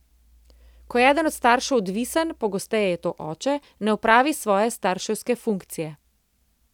Ko je eden od staršev odvisen, pogosteje je to oče, ne opravi svoje starševske funkcije.